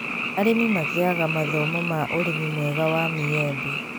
Arĩmi magĩaga thomo ma ũrĩmi mwega wa maembe